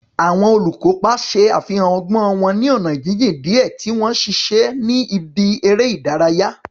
Àwọn olùkópa ṣe àfihàn ọgbọ́n wọn ní ọ̀nà jíjìn díẹ̀ tí wọ́n ń ṣiṣẹ́ ní ibi eré ìdárayá.